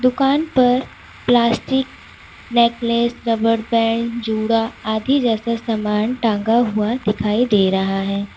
दुकान पर plastic necklace rubber band जुड़ा आदि जैसा सामान टांगा हुआ दिखाई दे रहा है।